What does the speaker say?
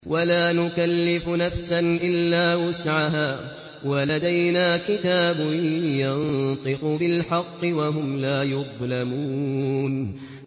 وَلَا نُكَلِّفُ نَفْسًا إِلَّا وُسْعَهَا ۖ وَلَدَيْنَا كِتَابٌ يَنطِقُ بِالْحَقِّ ۚ وَهُمْ لَا يُظْلَمُونَ